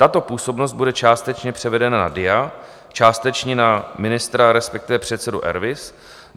Tato působnost bude částečně převedena na DIA, částečně na ministra, respektive předsedu RVIS.